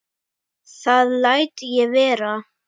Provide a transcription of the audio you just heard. Það læt ég vera